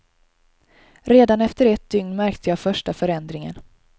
Redan efter ett dygn märkte jag första förändringen.